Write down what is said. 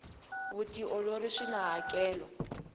vutiolori swina hakelo